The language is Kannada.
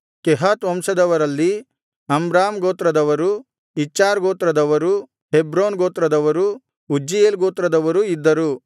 ಕೆಹಾತ್ ವಂಶದವರಲ್ಲಿ ಅಮ್ರಾಮ್ ಗೋತ್ರದವರು ಇಚ್ಹಾರ್ ಗೋತ್ರದವರೂ ಹೆಬ್ರೋನ್ ಗೋತ್ರದವರೂ ಉಜ್ಜೀಯೇಲ್ ಗೋತ್ರದವರೂ ಇದ್ದರು